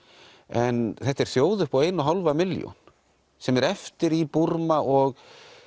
en þetta er þjóð upp á eina og hálfa milljón sem er eftir í Búrma og